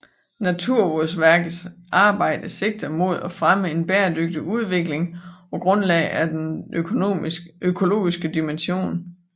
Naturvårdsverkets arbejde sigter mod at fremme en bæredygtig udvikling på grundlag af den økologiske dimension